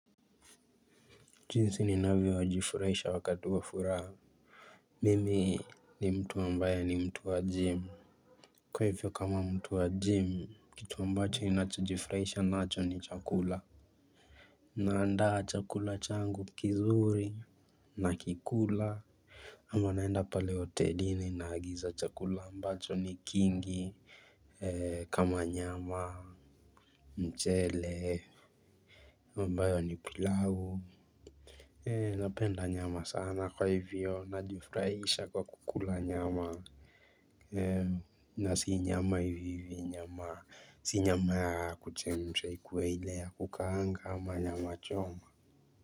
Jinsi ni navyo jifurahisha wakati wafuraha. Mimi ni mtu ambaye ni mtu wa gym. Kwa hivyo kama mtu wa gym, kitu ambacho ninacho jifurahisha nacho ni chakula. Naandaa chakula changu kizuri. Na kikula. Ama naenda pale hotelini na agiza chakula mbacho ni kingi kama nyama mchele. Ambayo ni pilau ee napenda nyama sana kwa hivyo na jifurahisha kwa kukula nyama ee na si nyama hivi hivi nyama si nyama ya kuchemsha ikuwe ile ya kukaanga ama nyama choma.